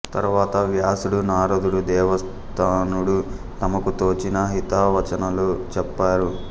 తరువాత వ్యాసుడు నారదుడు దేవస్థానుడు తమకు తోచిన హితవచనాలు చెప్పారు